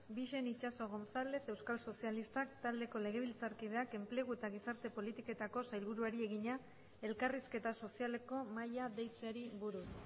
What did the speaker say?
bixen itxaso gonzález euskal sozialistak taldeko legebiltzarkideak enplegu eta gizarte politiketako sailburuari egina elkarrizketa sozialeko mahaia deitzeari buruz